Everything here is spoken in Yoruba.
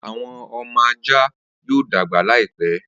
Awọn ọmọ ajá yoo dagba laipe.